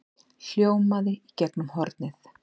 hljómaði í gegnum hornið.